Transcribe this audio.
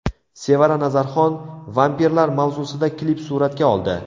Sevara Nazarxon vampirlar mavzusida klip suratga oldi .